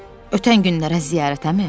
Ötən günlərə ziyarətəmi?